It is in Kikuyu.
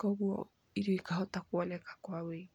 koguo irio ikahota kuoneka kwa ũingĩ.